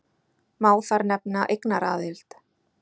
Má þar nefna eignaraðild.